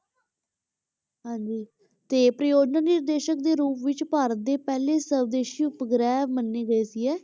ਹਾਂਜੀ ਤੇ ਪਰਯੋਜਨਾ ਨਿਰਦੇਸ਼ਕ ਦੇ ਰੂਪ ਵਿੱਚ ਭਾਰਤ ਦੇ ਪਹਿਲੇ ਸਵਦੇਸ਼ੀ ਉਪਗ੍ਰਹਿ ਮੰਨੇ ਗਏ ਸੀ ਇਹ,